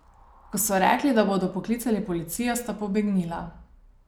Ko so rekli, da bodo poklicali policijo, sta pobegnila.